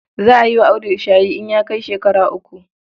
Za a yi wa Audu shayi in ya kai shekara uku.